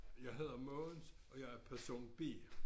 Jeg hedder Mogens og jeg er person B